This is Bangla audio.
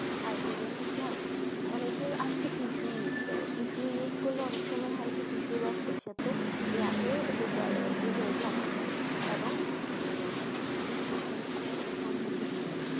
আর কি জানে একটা অনেকই আছে tissue use করে tissue use করলে অনেক সময় হয় কি tissue রক্তের সাথে হয়ে এতে জরায়ু তে জমা হয় এবং মানে বিভিন্ন ধরনের সমস্যার সম্মুখীন হয়।